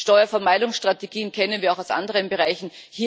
Steuervermeidungsstrategien kennen wir auch aus anderen Bereichen.